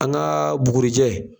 An gaa bugurijɛ